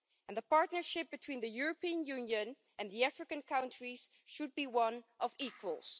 The partnership between the European Union and the African countries should be one of equals.